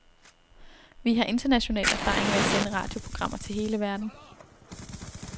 Vi har international erfaring med at sende radioprogrammer til hele verden.